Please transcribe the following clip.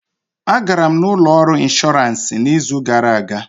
A gara m ụlọ ọrụ inshọransị izu gara aga